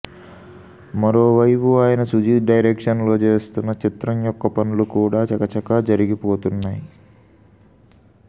మరోవైపు ఆయన సుజీత్ డైరెక్షన్లో చేస్తున్న చిత్రం యొక్క పనులు కూడా చక చకా జరిగిపోతున్నాయి